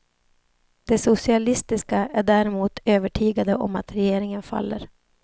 De socialistiska är däremot övertygade om att regeringen faller.